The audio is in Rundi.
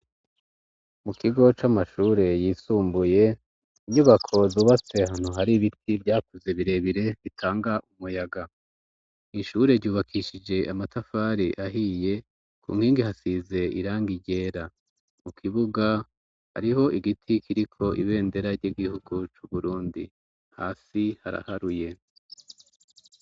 Mu kigo c'amashure yisumbuye inyubako zubatse hanu hari ibiti vyakuze birebire bitanga umuyaga ishure ryubakishije amatafare ahiye ku nkingi hasize iranga iryera mu kibuga ariho igiti kiriko ibendera ry'igihugu c'uburundi hafi haraharuye.